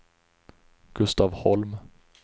Gustav Holm